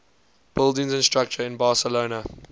buildings and structures in barcelona